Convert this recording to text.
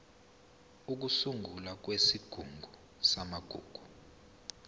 ukusungulwa kwesigungu samagugu